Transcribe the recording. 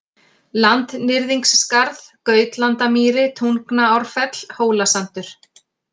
Landnyrðingsskarð, Gautlandamýri, Tungnaárfell, Hólasandur